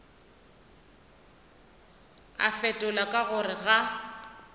a fetola ka gore ga